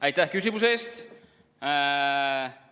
Aitäh küsimuse eest!